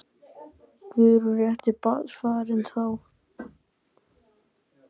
Guðrún: Rétti barnsfaðirinn þá?